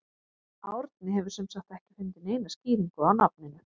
Árni hefur sem sagt ekki fundið neina skýringu á nafninu.